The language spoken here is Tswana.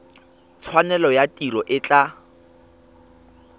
tshwanelo ya tiro e tla